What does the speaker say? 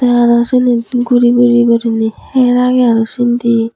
aro sinit guri guri goriney her agey aro sindi.